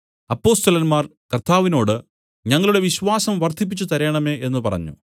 അപ്പൊസ്തലന്മാർ കർത്താവിനോട് ഞങ്ങളുടെ വിശ്വാസം വർദ്ധിപ്പിച്ചുതരേണമേ എന്നു പറഞ്ഞു